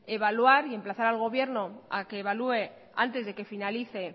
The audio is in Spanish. evaluar y emplazar al gobierno a que evalúe antes de que finalice